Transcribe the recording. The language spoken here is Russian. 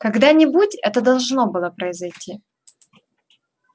когда-нибудь это должно было произойти